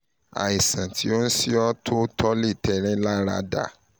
àìsàn tó ń ṣe ọ́ tó lára dá